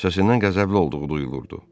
Səsindən qəzəbli olduğu duyulurdu.